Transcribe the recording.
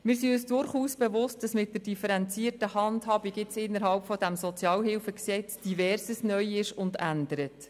Wir sind uns durchaus bewusst, dass mit der differenzierten Handhabung innerhalb dieses revidierten SHG nun Verschiedenes neu ist und ändert.